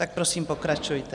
Tak prosím pokračujte.